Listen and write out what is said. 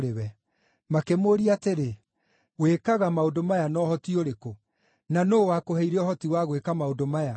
Makĩmũũria atĩrĩ, “Wĩkaga maũndũ maya na ũhoti ũrĩkũ? Na nũũ wakũheire ũhoti wa gwĩka maũndũ maya?”